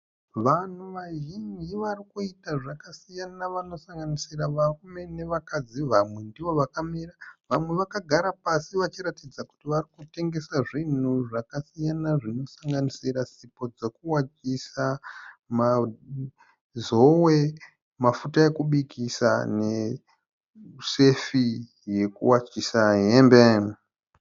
Vanhu vazhinji varikuita zvakasiyana vanosanganisira varume nevakadzi. Vamwe ndivo vakamira vamwe vakagara pasi vachiratidza kuti varikutengesa zvinhu zvakasiyana zvinosanganisira sipo dzekuwachisa , mazowe , mafuta ekubikisa ne sefi yekuwachisa hembe.